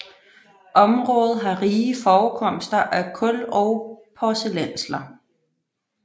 Området har rige forekomster af kul og porcelænsler